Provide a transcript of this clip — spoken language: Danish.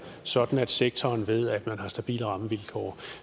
sådan at sektoren ved at den har stabile rammevilkår